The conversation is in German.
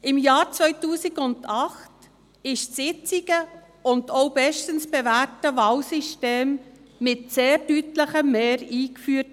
Im Jahr 2008 wurde das jetzige, bestens bewährte Wahlsystem mit einem sehr deutlichen Mehr eingeführt.